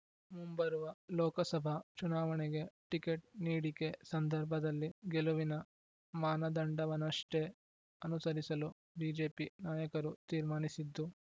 ಮುಂಬರುವ ಲೋಕಸಭಾ ಚುನಾವಣೆಗೆ ಟಿಕೆಟ್ ನೀಡಿಕೆ ಸಂದರ್ಭದಲ್ಲಿ ಗೆಲುವಿನ ಮಾನದಂಡವನ್ನಷ್ಟೇ ಅನುಸರಿಸಲು ಬಿಜೆಪಿ ನಾಯಕರು ತೀರ್ಮಾನಿಸಿದ್ದು